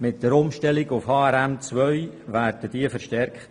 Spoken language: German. Mit der Umstellung auf HRM2 werden diese verstärkt.